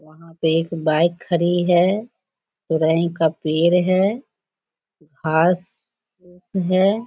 वहाँ पे एक बाइक खड़ी है । का पेड़ है । घास फूस है ।